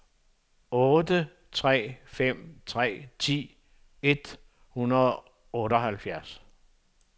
otte tre fem tre ti et hundrede og otteoghalvfjerds